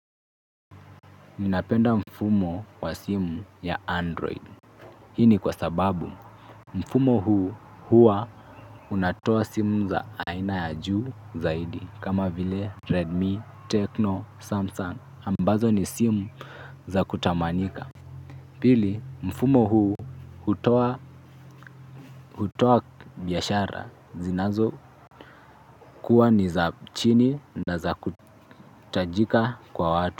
Ninapenda mfumo wa simu ya android. Hii ni kwa sababu mfumo huu huwa unatoa simu za aina ya juu zaidi kama vile redmi techno samsung ambazo ni simu za kutamanika. Pili mfumo huu hutoa hutoa biashara zinazo kuwa ni za chini na za kutajika kwa watu.